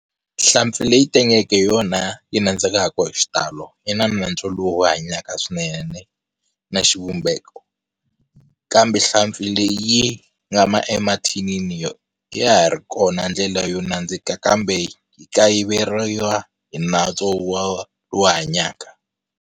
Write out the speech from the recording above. Nhlampfi leyi tengeke hi yona yi nandzikaka hi xitalo yi na nantswo lowu hanyaka swinene na xivumbeko kambe nhlampfi leyi yi nga emathinini yona, ya ha ri kona ndlela yo nandzika kambe yi kayiveriwa hi nantswo wa lowu hanyaka.